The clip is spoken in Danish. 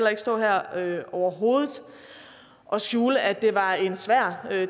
ikke stå her overhovedet og skjule at det var en svær